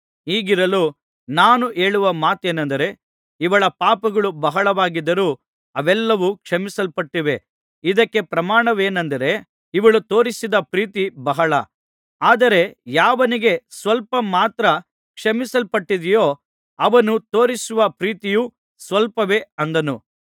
ಹೀಗಿರಲು ನಾನು ಹೇಳುವ ಮಾತೇನಂದರೆ ಇವಳ ಪಾಪಗಳು ಬಹಳವಾಗಿದ್ದರೂ ಅವೆಲ್ಲಾವು ಕ್ಷಮಿಸಲ್ಪಟ್ಟಿವೆ ಇದಕ್ಕೆ ಪ್ರಮಾಣವೇನಂದರೆ ಇವಳು ತೋರಿಸಿದ ಪ್ರೀತಿ ಬಹಳ ಆದರೆ ಯಾವನಿಗೆ ಸ್ವಲ್ಪ ಮಾತ್ರ ಕ್ಷಮಿಸಲ್ಪಟ್ಟಿದೆಯೋ ಅವನು ತೋರಿಸುವ ಪ್ರೀತಿಯು ಸ್ವಲ್ಪವೇ ಅಂದನು